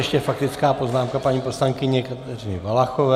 Ještě faktická poznámka paní poslankyně Kateřiny Valachové.